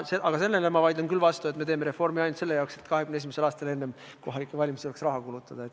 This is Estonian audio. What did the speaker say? Aga sellele vaidlen ma küll vastu, et me teeme reformi ainult selle jaoks, et 2021. aastal enne kohalikke valimisi saaks raha kulutada.